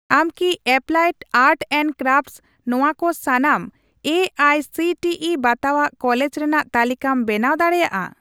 ᱟᱢ ᱠᱤ applied art and craft ᱱᱚᱣᱟ ᱠᱚ ᱥᱟᱱᱟᱢ AICTE ᱵᱟᱛᱟᱣᱟᱜ ᱠᱚᱞᱮᱡᱽ ᱨᱮᱱᱟᱜ ᱛᱟᱞᱤᱠᱟᱢ ᱵᱮᱱᱟᱣ ᱫᱟᱲᱮᱭᱟᱜᱼᱟ ᱾